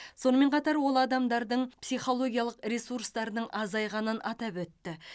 сонымен қатар ол адамдардың психолгиялық ресурстарының азайғанын атап өтті